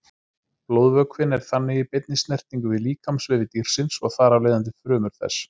Blóðvökvinn er þannig í beinni snertingu við líkamsvefi dýrsins og þar af leiðandi frumur þess.